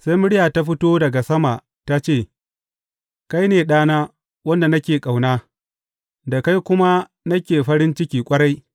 Sai murya ta fito daga sama ta ce, Kai ne Ɗana, wanda nake ƙauna, da kai kuma nake fari ciki ƙwarai.